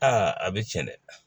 Aa a bɛ tiɲɛ dɛ